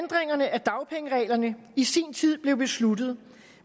af dagpengereglerne i sin tid blev besluttet